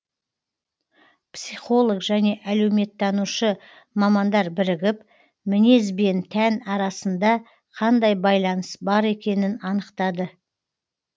психолог және әлеуметтанушы мамандар бірігіп мінез бен тән арасында қандай байланыс бар екенін анықтады